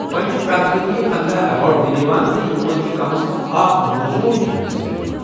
وۄنہِ چھ پرٛٮ۪تھ ؤرۍ پندہَ ایوارڈ دنہٕ یوان، تہٕ یمو منٛز چھ کم از کم اکھ مۄزوُر کھلٲڑِس دنِہٕ یوان